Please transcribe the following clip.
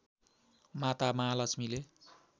माता महालक्ष्मीले